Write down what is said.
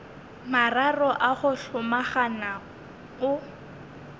mararo a go hlomagana o